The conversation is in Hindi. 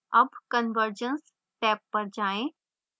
tab conversions टैब पर जाएँ